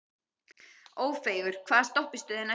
Ófeigur, hvaða stoppistöð er næst mér?